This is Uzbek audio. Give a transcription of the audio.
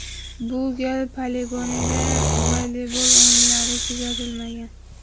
Bu gal poligonda voleybol o‘yinlari kuzatilmagan.